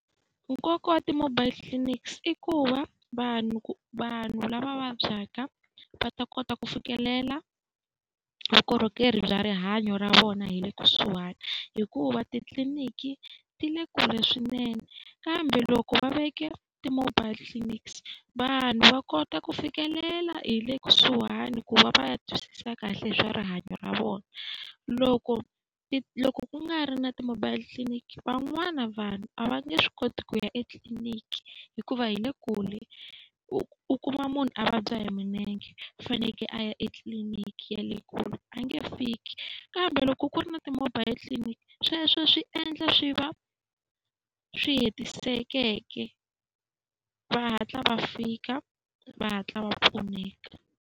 Nkoka wa ti-mobile clinics i ku va vanhu vanhu vanhu lava vabyaka va ta kota ku fikelela vukorhokeri bya rihanyo ra vona hi le kusuhani. Hikuva titliniki ti le kule swinene kambe loko va veke ti-mobile clinics vanhu va kota ku fikelela hi le kusuhani ku va va ya twisisa kahle hi swa rihanyo ra vona. Loko loko ku nga ri na ti-mobile clinic, van'wana vanhu a va nge swi koti ku ya etliliniki hikuva yi le kule. U kuma munhu a vabya hi milenge a fanekele a ya etliliniki ya le kule, a nge fiki. Kambe loko ku ri na ti-mobile clinic sweswo swi endla swi va swi hetisekeke, va hatla va fika, va hatla va pfuneka.